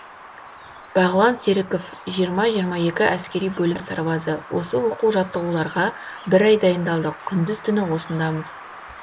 бағлан серіков жиырма жиырма екі әскери бөлім сарбазы осы оқу жаттығуларға бір ай дайындалдық күндіз түні осындамыз